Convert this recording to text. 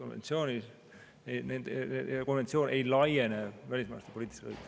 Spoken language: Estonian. See ei kuulu konventsiooniga kaitstavate õiguste hulka.